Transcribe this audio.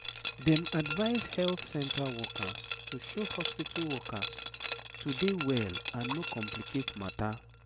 dem advise health center workers to show hospitu workers to dey well and no complicate matter